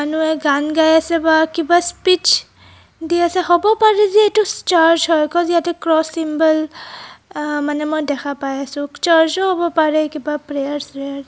মানুহে গান গায় আছে বা কিবা স্পিচ দি আছে হব পাৰে যে এইতো চাৰ্চ হয় ক'জ ইয়াতে ক্ৰচ চিম্বল আ মানে মই দেখা পাই আছোঁ. চাৰ্চ ও হ'ব পাৰে কিবা প্ৰেয়াৰ স্ৰয়াৰ--